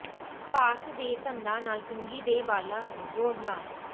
ਸਪਾਰਸ ਦੇ ਦੰਦਾਂ ਨਾਲ ਕੰਘੀ ਦੇ ਵਾਲਾਂ ਨੂੰ ਜੋੜਨਾ